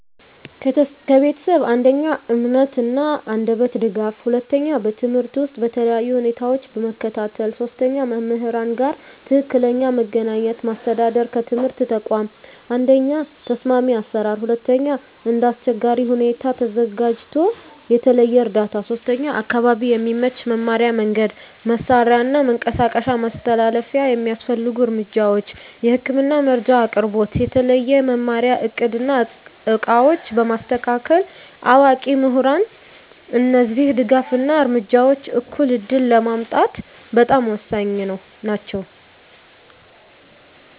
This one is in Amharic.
ከቤተሰብ፦ 1. የእምነት እና የአንደበት ድጋፍ 2. በትምህርት ውስጥ በተለያዩ ሁኔታዎች መከታተል 3. ከመምህራን ጋር ትክክለኛ መገናኘት ማስተዳደር ከትምህርት ተቋም፦ 1. ተስማሚ አሰራር 2. እንደ አስቸጋሪ ሁኔታ ተዘጋጅቶ የተለየ እርዳታ 3. አካባቢ የሚመች መማሪያ መንገድ፣ መሳሪያ እና መንቀሳቀስ መተላለፊያ የሚያስፈልጉ እርምጃዎች፦ የህክምና መረጃ አቅርቦት፣ የተለየ መማሪያ እቅድ እና ዕቃዎች በማስተካከል፣ አዋቂ ምሁራን እነዚህ ድጋፍ እና እርምጃዎች እኩል ዕድል ለማምጣት በጣም ወሳኝ ናቸው።